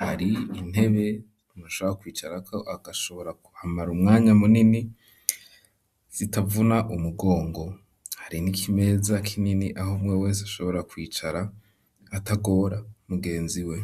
hari intebe umuntu ashobora kwicarako, agashobora kuhamara umwanya munini zitavuna umugongo; hari n'ikimeza kinini aho umwe wese, ashobora kwicara atagora mugenziwe.